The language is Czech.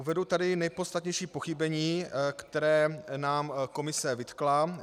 Uvedu tady nejpodstatnější pochybení, která nám Komise vytkla.